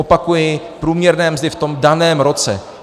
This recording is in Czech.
Opakuji, průměrné mzdy v tom daném roce.